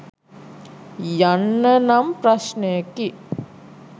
යන්න නම් ප්‍රශ්නයකි.